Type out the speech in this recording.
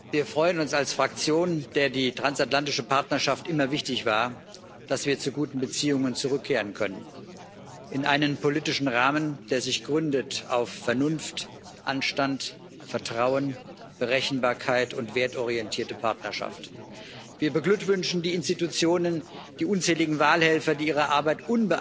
Wir freuen uns als Fraktion, der die transatlantische Partnerschaft immer wichtig war, dass wir zu guten Beziehungen zurückkehren können, in einen politischen Rahmen, der sich auf Vernunft, Anstand, Vertrauen, Berechenbarkeit und wertorientierte Partnerschaft gründet. Wir beglückwünschen die Institutionen, die unzähligen Wahlhelfer, die ihre Arbeit